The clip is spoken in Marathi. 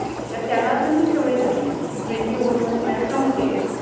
तर त्याला पण ति सवय झालेलि कि TWENTY OVER स मधे MATCH सम्पते